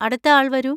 അടുത്ത ആൾ വരൂ.